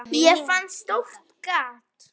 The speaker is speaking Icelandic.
Ég fann stórt gat.